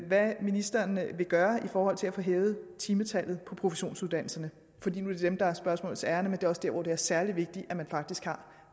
hvad ministeren vil gøre i forhold til at få hævet timetallet på professionsuddannelserne fordi nu er det dem der er spørgsmålets ærinde men det er også dér hvor det er særlig vigtigt at man faktisk har